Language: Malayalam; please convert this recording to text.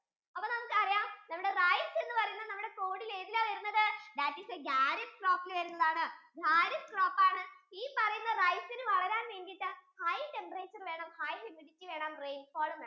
അപ്പൊ നമുക്ക് അറിയാം നമ്മുടെ rice എന്ന് പറയുന്നത് നമ്മുടെ code യിൽ ഏതിലാ വരുന്നത് that is a kharif crop യിൽ വരുന്നതാണ് kharif crop ആണ് ഈ പറയുന്ന rice ഇന് വളരാൻ വേണ്ടിട്ടു high temperature വേണം high mudity വേണം high rainfall ഉം വേണം